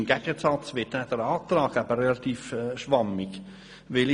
Demgegenüber ist der Antrag sehr schwammig formuliert.